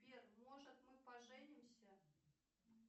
сбер может мы поженимся